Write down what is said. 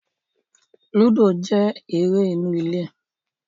Lúdò jẹ́ eré inú ilé